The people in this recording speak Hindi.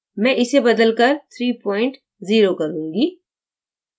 मैं इसे बदलकर 30 करूँगी